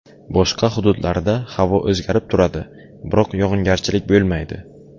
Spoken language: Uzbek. Boshqa hududlarida havo o‘zgarib turadi, biroq yog‘ingarchilik bo‘lmaydi.